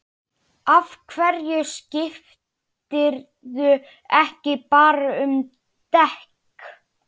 Af hverju skiptirðu ekki bara um dekk?